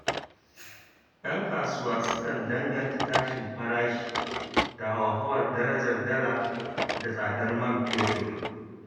Yan kasuwa sukan danganta tashin farashi da hauhawar darajar dala da tsadar man fetur.